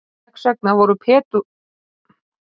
þess vegna voru pendúlar mikilvægir sem tímamælar áður fyrr